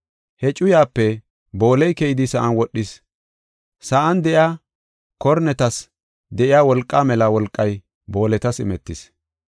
He cuyape booley keyidi sa7an wodhis. Sa7an de7iya kornetas de7iya wolqaa mela wolqay booletas imetis.